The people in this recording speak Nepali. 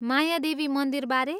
मायादेवी मन्दिरबारे?